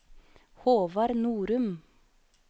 Håvard Norum